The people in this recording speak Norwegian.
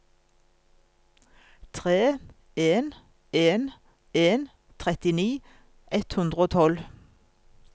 tre en en en trettini ett hundre og tolv